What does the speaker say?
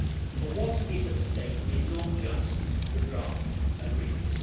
For what is at stake is not just the draft agreement.